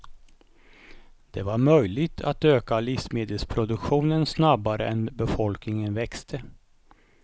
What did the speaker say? Det var möjligt att öka livsmedelsproduktionen snabbare än befolkning växte.